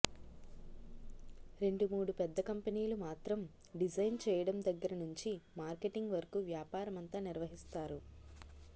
రెండుమూడు పెద్ద కంపెనీలు మాత్రం డిజైన్ చేయడం దగ్గర నుంచి మార్కెటింగ్ వరకూ వ్యాపారమంతా నిర్వహిస్తారు